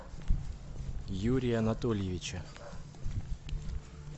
юрия анатольевича